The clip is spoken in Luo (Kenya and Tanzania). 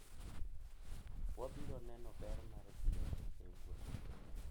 Wabiro neno ber mar dhi e wuoth .